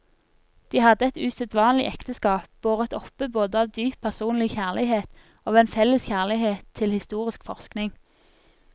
De hadde et usedvanlig ekteskap, båret oppe både av dyp personlig kjærlighet og av en felles kjærlighet til historisk forskning.